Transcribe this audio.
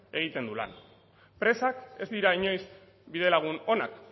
egiten du lan presak ez dira inoiz bidelagun onak